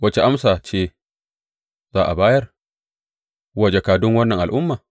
Wace amsa ce za a bayar wa jakadun wannan al’umma?